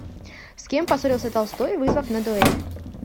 с кем поссорился толстой вызвав на дуэль